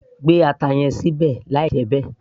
gbé ata yẹn sílẹ̀ àí jẹ́ bẹ́ẹ̀